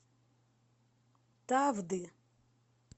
тавды